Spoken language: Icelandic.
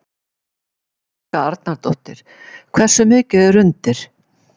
Helga Arnardóttir: Hversu mikið er undir?